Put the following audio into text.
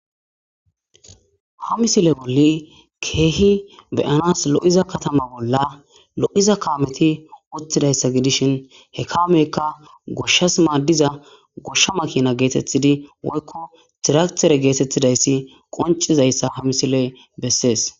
Ha misile bolli keehi beyanas lo'iza katama bolla lo'iza kaameti wottidayssa gidishin he kaameyka goshshas maaddiza goshsha makina geetettidi woykko tiratere geetettidayssi qoncizayssa ha misiley bessees.